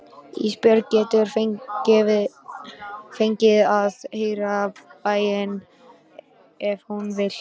Ísbjörg getur fengið að heyra bænina ef hún vill.